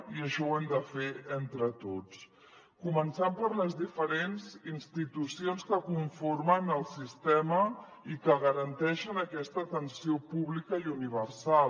i això ho hem de fer entre tots començant per les diferents institucions que conformen el sistema i que garanteixen aquesta atenció pública i universal